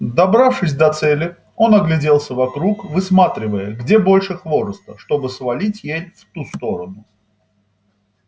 добравшись до цели он огляделся вокруг высматривая где больше хвороста чтобы свалить ель в ту сторону